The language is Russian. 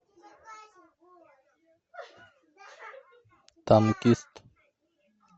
танкист